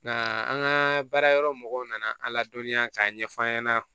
Nka an ka baara yɔrɔ mɔgɔw nana an ladɔnniya k'a ɲɛf'an ɲɛna